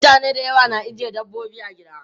Mutane da yawa na ajiye dabbobi a gida.